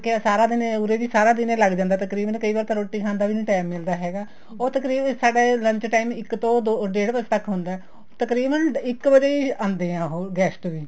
ਹੋਰ ਕਿਆ ਸਾਰਾ ਦਿਨ ਉਰੇ ਵੀ ਸਾਰਾ ਦਿਨ ਲੱਗ ਜਾਂਦਾ ਤਕਰੀਬਨ ਕਈ ਵਾਰ ਤਾਂ ਰੋਟੀ ਖਾਣ ਦਾ ਵੀ ਨਹੀਂ time ਮਿਲਦਾ ਹੈਗਾ ਉਹ ਤਕਰੀਬਨ ਸਾਡਾ ਇਹ lunch time ਇੱਕ ਤੋ ਡੇਡ ਵਜ਼ੇ ਤੱਕ ਹੁੰਦਾ ਤਕਰੀਬਨ ਇੱਕ ਵਜ਼ੇ ਹੀ ਆਂਦੇ ਹੈ ਉਹ guest ਵੀ